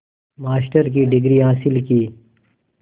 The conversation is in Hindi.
मास्टर की डिग्री हासिल की